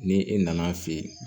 Ni e nan'a fɛ yen